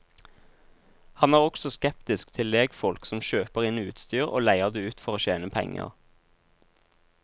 Han er også skeptisk til legfolk som kjøper inn utstyr og leier det ut for å tjene penger.